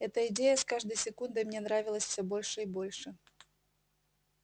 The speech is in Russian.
эта идея с каждой секундой мне нравилась всё больше и больше